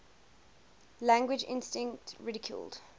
language instinct ridiculed